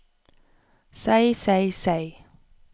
seg seg seg